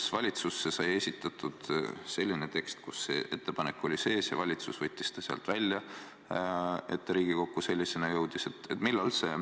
Kas valitsusse sai esitatud selline tekst, kus see ettepanek oli sees, ja valitsus võttis ta sealt välja, nii et ta Riigikokku sellisena jõudis?